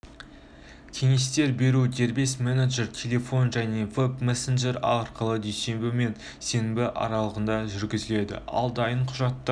кеңестер беруді дербес менеджер телефон және вэб-мессенджері арқылы дүйсенбі мен сенбі аралығында жүргізеді ал дайын құжаттар